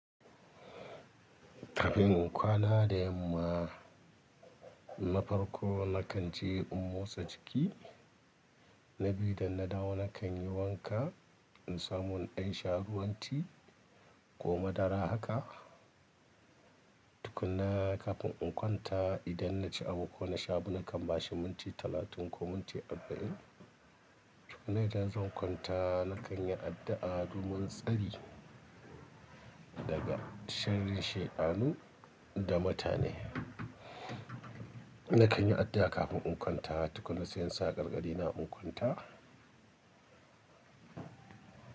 Kafin in kwana da yamma, na farko na kan ce in motsa jiki. Na biyu idan na dawo na kan yi wanka in samu in ɗan sha ruwan ti, ko madara haka. Tukunna kafin in kwanta, idan na ci abu ko na sha abu, na kan bashi munti talatin ko munti arba'in. Tukunna idan zan kwanta na kan yi addu'a domin tsari daga sharrin shedanu da mutane. Na kan yi addu'a kafin in kwanta. Tukunna sai in sa gargadi na in kwanta.